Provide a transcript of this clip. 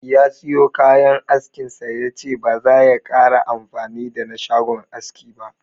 Ya siyo kayan askin sa, yace ba zaya kara amfani da na shagon aski ba.